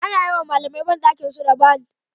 Ana yiwa malamai bandakinsu da ban